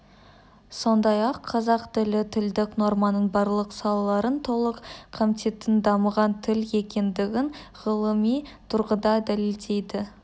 сондай-ақ қазақ тілі тілдік норманың барлық салаларын толық қамтитын дамыған тіл екендігін ғылыми тұрғыда дәлелдейді